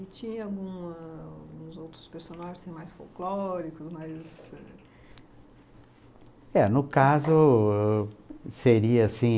E tinha algum alguns outros personagens mais folclóricos, mais... É, no caso, seria assim...